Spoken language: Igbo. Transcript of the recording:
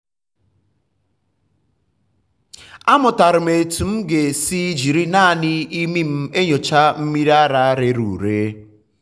amụtara m otú m ga-esi jiri naanị imi m enyocha mmiri ara rere ure.